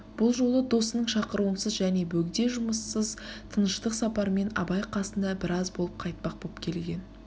бұл жолы досының шақыруынсыз және бөгде жұмыссыз тыныштық сапармен абай қасында біраз болып қайтпақ боп келген